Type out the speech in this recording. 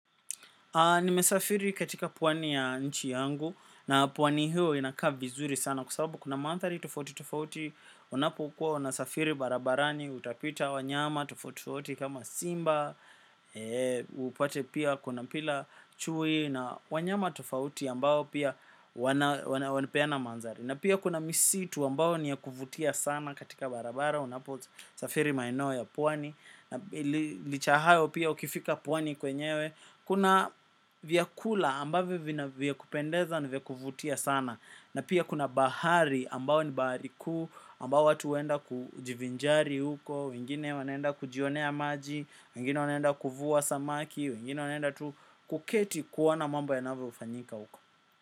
Nimesafiri katika pwani ya nchi yangu, na pwani hiyo inakaa vizuri sana kwa sababu kuna maadhari tufauti tufauti. Unapokua unasafiri barabarani utapita wanyama tofauti tofauti kama Simba, upate pia kuna chui na wanyama tofauti ambao pia wanapeana mandhari. Na pia kuna misitu ambao niyakuvutia sana katika barabara, unapo safiri maeneo ya pwani. Licha ya hayo pia ukifika pwani kwenyewe kuna vyakula ambavyo vyakupendeza na vyakuvutia sana. Na pia kuna bahari ambao ni bahari kuu. Ambayo watu huenda kujivinjari huko. Wengine wanaenda kujionea maji, wengine wanaenda kuvuwa samaki, wengine wanaenda tu kuketi kuona mambo yanavyo fanyika huko.